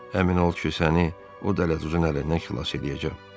Əmin ol ki, səni o dələduzun əlindən xilas eləyəcəm.